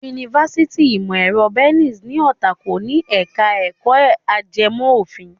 Yunifásitì ìmọ̀ ẹ̀rọ Bells ní Ọ̀tà kò ní ẹ̀ka ẹ̀kọ́ ajẹmọ́ òfin.